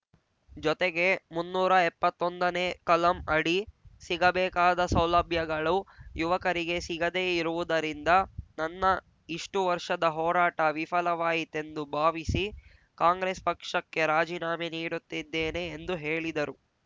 ಜೊತೆಗೆ ಮುನ್ನೂರ ಇಪ್ಪತ್ತೊಂದನೇ ಕಲಂ ಅಡಿ ಸಿಗಬೇಕಾದ ಸೌಲಭ್ಯಗಳು ಯುವಕರಿಗೆ ಸಿಗದೇ ಇರುವುದರಿಂದ ನನ್ನ ಇಷ್ಟು ವರ್ಷದ ಹೋರಾಟ ವಿಫಲವಾಯಿತೆಂದು ಭಾವಿಸಿ ಕಾಂಗ್ರೆಸ್ ಪಕ್ಷಕ್ಕೆ ರಾಜಿನಾಮೆ ನೀಡುತ್ತಿದ್ದೇನೆ ಎಂದು ಹೇಳಿದರು